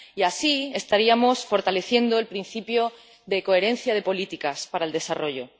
Y así estaríamos fortaleciendo el principio de coherencia de las políticas para el desarrollo.